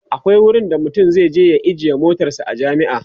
akwai wurin da mutum zai je ya ajiye motarsa a jami'a